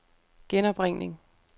genopringning